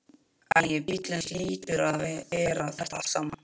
Æ, bíllinn hlýtur að bera þetta allt saman.